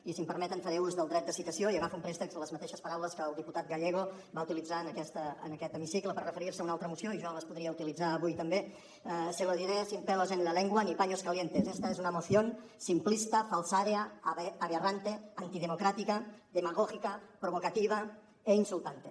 i si em permeten faré ús del dret de citació i agafo en préstec les mateixes paraules que el diputat gallego va utilitzar en aquest hemicicle per referir·se a una altra moció i jo les podria utilitzar avui també se lo diré sin pelos en la lengua ni paños calientes esta es una moción simplista falsaria aberrante antidemocrática demagógica provocativa e insultante